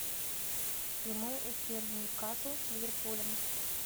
прямой эфир нью касл с ливерпулем